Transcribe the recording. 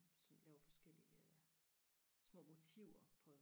sådan laver forskellige små motiver på